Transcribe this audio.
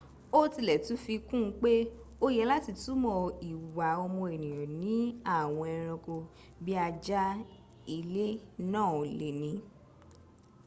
ó tilẹ̀ tún fi kún un pé òye láti túmọ̀ ìwà ọmọ ènìyàn ni àwọn ẹranko bí ajá ilé náà le ní